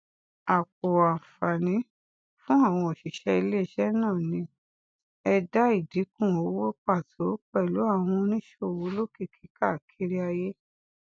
àpọ àǹfààní fún àwọn oṣiṣẹ iléiṣẹ náà ní ẹdá ìdínkù owó pàtó pẹlú àwọn oníṣòwò olókìkí káàkiri ayé